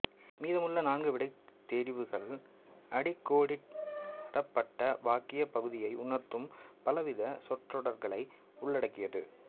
மீதமுள்ள நான்கு விடைத் தெரிவுகள் அடிக்கோடிடப்பட்ட வாக்கியப் பகுதியை உணர்த்தும் பலவித சொற்றொடர்களை உள்ளடக்கியது